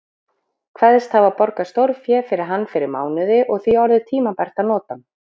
Kveðst hafa borgað stórfé fyrir hann fyrir mánuði og því orðið tímabært að nota hann.